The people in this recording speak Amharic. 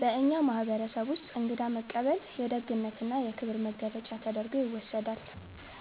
በእኛ ማህበረሰብ ውስጥ እንግዳ መቀበል የደግነትና የክብር መገለጫ ተደርጎ ይወሰዳል።